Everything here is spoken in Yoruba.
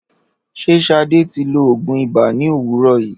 Ṣé Sade ti lo òògùn ibà ní òwúrò yìí?